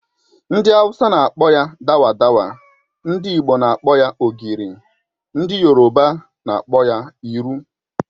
Ndi awusa n'akpọ ya dawa dawa, ndị Igbo n'akpọ ya ogiri, ndị yoroba n'akpọ ya iru